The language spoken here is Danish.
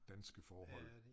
Danske forhold